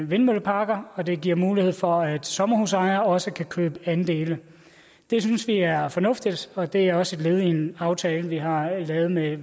vindmølleparker og det giver mulighed for at sommerhusejere også kan købe andele det synes vi er fornuftigt og det er også et led i en aftale vi har lavet med